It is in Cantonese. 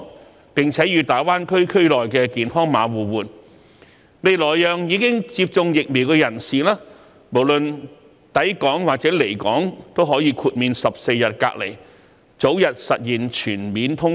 透過"港康碼"與大灣區"健康碼"的互通安排，今後更可讓已接種疫苗的人士無論抵港或離港，均可豁免14日隔離檢疫的安排，從而早日實現全面通關。